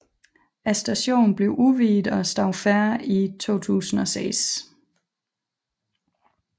Stationen blev udvidet og stod færdig i 2006